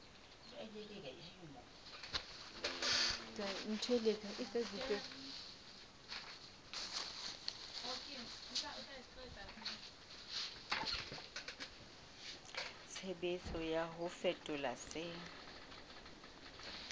tshebetso ya ho fetola se